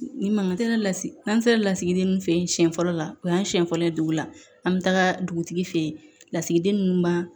Nin mankan tɛ ne la n'an sera lasigiden ninnu fɛ yen siɲɛ fɔlɔ la o y'an siɲɛ fɔlɔ ye dugu la an bɛ taga dugutigi fɛ yen lasigiden ninnu ma